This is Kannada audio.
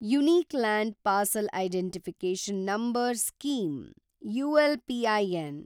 unique land parcel identification number scheme (ಅಲ್ಪಿನ್)